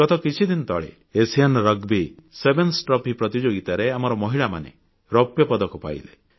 ଗତ କିଛିଦିନ ତଳେ ଏସିଆ ରଗ୍ବି ସେଭେନ୍ସ ଟ୍ରଫି ପ୍ରତିଯୋଗିତାରେ ଆମର ମହିଳାମାନେ ରୌପ୍ୟପଦକ ପାଇଲେ